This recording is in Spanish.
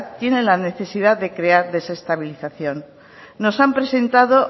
tienen la necesidad de crear desestabilización nos han presentado